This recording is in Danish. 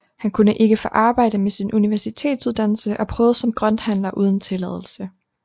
Han kunne ikke få arbejde med sin universitetsuddannelse og prøvede som grønthandler uden tilladelse